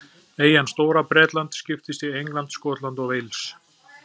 Eyjan Stóra-Bretland skiptist í England, Skotland og Wales.